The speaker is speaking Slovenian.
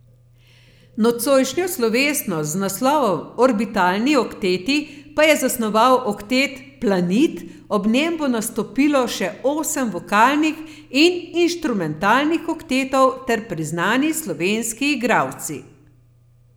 Nocojšnjo slovesnost z naslovom Orbitalni okteti pa je zasnoval oktet Planit, ob njem bo nastopilo še osem vokalnih in instrumentalnih oktetov ter priznani slovenski igralci.